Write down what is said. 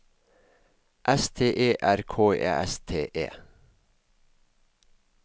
S T E R K E S T E